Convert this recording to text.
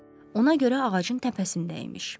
Ona görə ağacın təpəsində imiş.